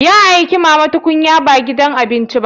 Ya aike ki mama tukunya ba gidan abinci ba.